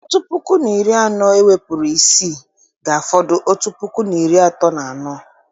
Otu puku na iri anọ ewepụrụ isii, ga-afọdụ otu puku na iri atọ na anọ